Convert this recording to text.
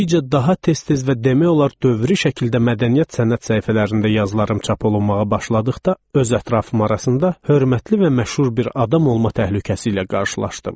Getdikcə daha tez-tez və demək olar dövri şəkildə mədəniyyət sənət səhifələrində yazılarım çap olunmağa başladıqda öz ətrafım arasında hörmətli və məşhur bir adam olma təhlükəsi ilə qarşılaşdım.